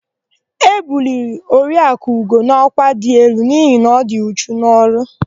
E buliri Oriakụ Ugo n'ọkwa dị elu n'ihi na ọ dị uchu n'ọrụ.